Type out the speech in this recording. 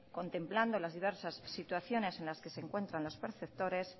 contemplando las diversas situaciones en las que se encuentran los perceptores